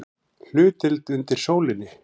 HLUTDEILD UNDIR SÓLINNI